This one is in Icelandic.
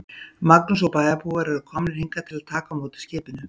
Magnús: Og bæjarbúar eru komnir hingað til að taka á móti skipinu?